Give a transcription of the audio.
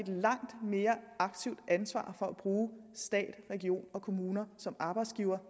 langt mere aktivt ansvar for at bruge stat regioner og kommuner som arbejdsgivere